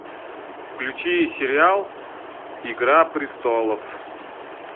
включи сериал игра престолов